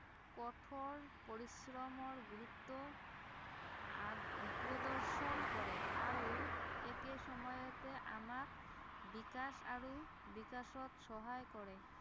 কঠোৰ পৰিশ্ৰমৰ গুৰুত্ৱ আহ প্ৰদৰ্শন কৰে আৰু একে সময়তে আমাক বিকাশ আৰু বিকাশত সহায় কৰে